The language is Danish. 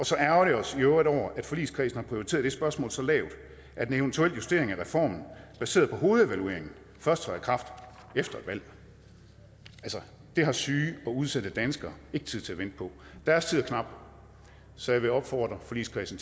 så ærgrer vi os i øvrigt over at forligskredsen har prioriteret det spørgsmål så lavt at en eventuel justering af reformen baseret på hovedevalueringen først træder i kraft efter et valg altså det har syge og udsatte danskere ikke tid til at vente på deres tid er knap så jeg vil opfordre forligskredsen